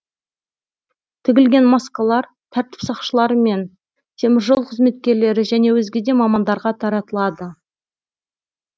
тігілген маскалар тәртіп сақшылары мен темір жол қызметкерлері және өзге де мамандарға таратылады